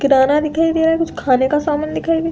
किराना दिखाई दे रहा है कुछ खाने का सामान दिखाई दे --